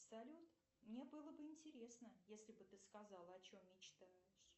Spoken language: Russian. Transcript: салют мне было бы интересно если бы ты сказала о чем мечтаешь